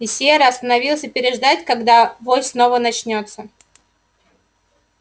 и серый остановился переждать когда вой снова начнётся